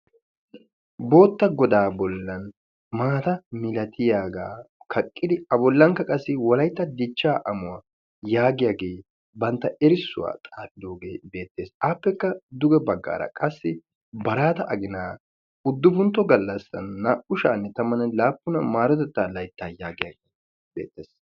bootta godaa bollan garssa baggaara maata milatiyaga kaqqidi a bollankka qassi wolaytta dichchaa amuwa yaagiyage bantta erissuwa xaafidoge beettes. appekka duge baggaara qassi baraata aginaa uddufuntto gallassaa naa"u sha'anne tammanne laappun maarotettaa layttaa yaagiyage beettes.